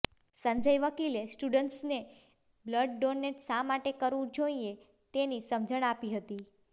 સંજય વકીલે સ્ટુડન્ટ્સને blood donate શા માટે કરવું જોઈએ તેની સમજણ આપી હતી